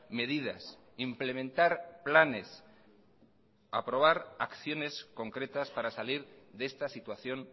medidas implementar planes aprobar acciones concretas para salir de esta situación